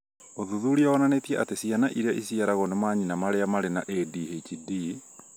ũthuthuria wonanĩtie atĩ ciana iria iciarĩtwo nĩ manyina marĩa marĩ na ADHD